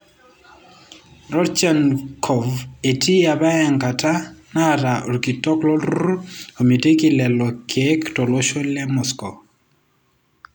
Rodchenkov eti apa enkata nataa orkitok olturur omitiki lelo kiek tolosho le Moscow.